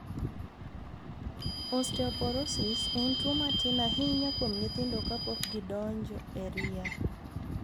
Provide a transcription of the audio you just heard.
Osteoporosis en tuo ma tin ahinya kuom nyithindo kapok gidonjo e ria.